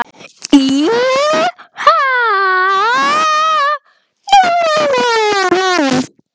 heiðnu atriðum var þetta sjálfsagt lengst frá guði.